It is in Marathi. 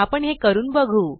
आपण हे करून बघू